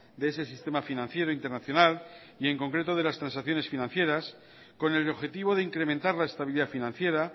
de ese sistema financiero internacional y en concreto de las transacciones financieras con el objetivo de incrementar la estabilidad financiera